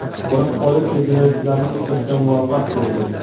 Biroq politsiya jinoyatchilarni ushlashga muvaffaq bo‘ldi.